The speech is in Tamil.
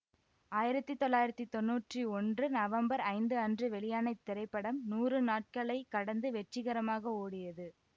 ஆயிரத்தி தொள்ளாயிரத்தி தொன்னூற்றி ஒன்று நவம்பர் ஐந்து அன்று வெளியான இத்திரைப்படம் நூறு நாட்களை கடந்து வெற்றிகரமாக ஓடியது